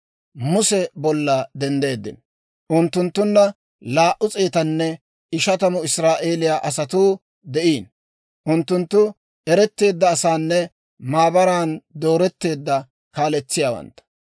Muse bolla denddeeddino. Unttunttunna laa"u s'eetanne ishatamu Israa'eeliyaa asatuu de'iino; unttunttu eretteedda asanne maabaran dooretteedda kaaletsiyaawantta.